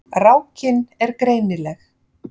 Rákin er greinileg.